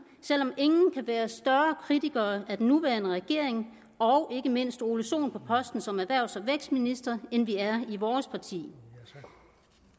selv om ingen kan være større kritikere af den nuværende regering og ikke mindst herre ole sohn på posten som erhvervs og vækstminister end vi er i vores parti